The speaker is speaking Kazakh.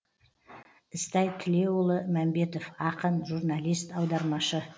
ізтай тілеуұлы мәмбетов ақын журналист аудармашы